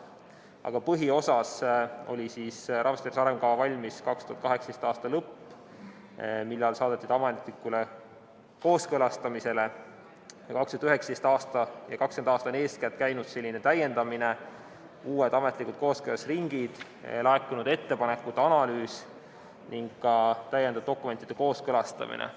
Aga põhiosas oli rahvastiku tervise arengukava valmis 2018. aasta lõpus, kui see saadeti ametlikule kooskõlastamisele, ning 2019. aastal ja eeskätt 2020. aastal käis täiendamine, olid uued ametlikud kooskõlastusringid, laekunud ettepanekute analüüs ning ka täiendav dokumentide kooskõlastamine.